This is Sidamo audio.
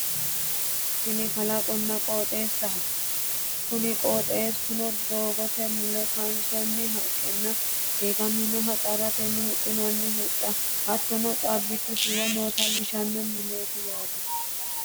Tini kalaqonna qooxeessaho kuni qooxeessuno doogote mule kaansoonni haqqenna diigaminoha xarratenni huxxinoonni huxxa hattono caabbichu shiwo noota leellishanno misileeti yaate